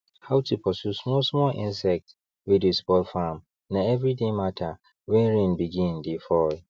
how to pursue small small insects wey dey spoil farm na every day matter when rain begin dey fall